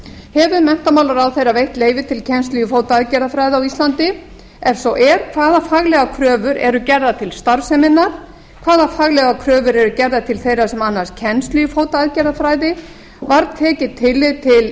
hefur menntamálaráðherra veitt leyfi til kennslu í fótaaðgerðafræði á íslandi ef svo er hvaða faglegar kröfur eru gerðar til starfseminnar hvaða faglegar kröfur eru gerðar til þeirra sem annast kennslu í fótaaðgerðafræði var tekið tillit til